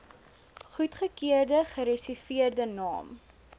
goedgekeurde gereserveerde naam